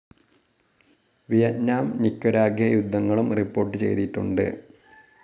Vietnam Nicaragua യുദ്ധങ്ങളും report ചെയ്തിട്ടുണ്ട്.